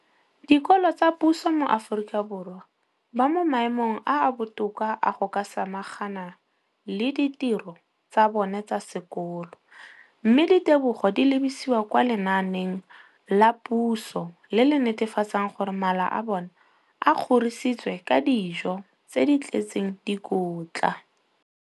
dikolo tsa puso mo Aforika Borwa ba mo maemong a a botoka a go ka samagana le ditiro tsa bona tsa sekolo, mme ditebogo di lebisiwa kwa lenaaneng la puso le le netefatsang gore mala a bona a kgorisitswe ka dijo tse di tletseng dikotla.